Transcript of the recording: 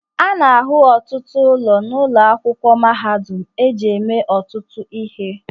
A na-ahụ ọtụtụ ụlọ n'ụlọ akwụkwọ mahadum eji eme ọtụtụ ihe